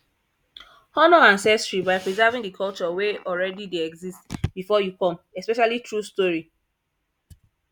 honor ancestry by preserving the culture wey already de exist before you come especially through story